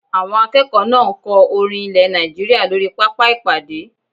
Àwọn akẹ́kọ̀ọ́ náà ń kọ orin ilẹ̀ Nàìjíríyà lórí pápá ìpàdé